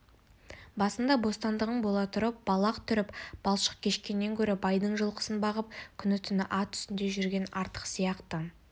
басында бостандығың бола тұрып балақ түріп балшық кешкеннен гөрі байдың жылқысын бағып күні-түні ат үстінде жүрген артық сияқты